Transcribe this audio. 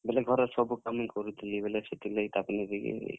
ବେଲେ ଘରର୍ ସବୁ କାମ୍ ମୁଇ କରୁଥିଲି ବେଲେ ସେଥିର୍ ଲାଗି ତାପ୍ ନେ ବି।